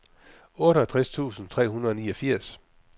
otteogtres tusind tre hundrede og niogfirs